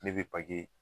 Ne bɛ